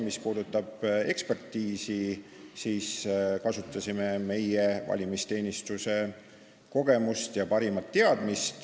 Mis puudutab ekspertiisi, siis me kasutasime meie valimisteenistuse kogemusi ja parimaid teadmisi.